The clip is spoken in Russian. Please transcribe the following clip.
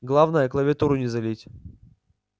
главное клавиатуру не залить